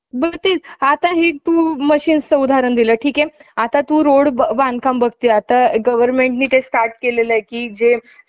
गे~ अं येऊन तिथंच विश्रांती घेतली. आणि ज्या दिवशी परीक्षा सुरु होणार, त्यादिवशी सकाळीच पाच वाजता मी~ मी मुलं हि मुलं साताऱ्याला पोचली.